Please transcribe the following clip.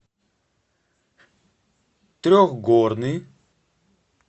трехгорный